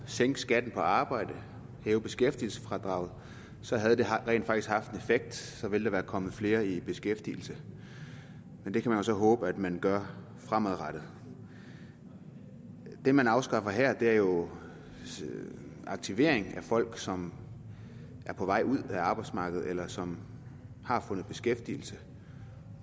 sænke skatten på arbejde hæve beskæftigelsesfradraget så havde det rent faktisk haft en effekt så ville der være kommet flere i beskæftigelse men det kan vi jo så håbe at man gør fremadrettet det man afskaffer her er jo aktivering af folk som er på vej ud af arbejdsmarkedet eller som har fundet beskæftigelse